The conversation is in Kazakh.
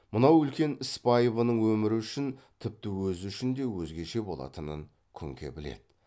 мынау үлкен іс байыбының өмірі үшін тіпті өзі үшін де өзгеше болатынын күңке біледі